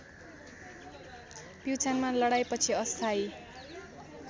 प्युठानमा लडाईँपछि अस्थायी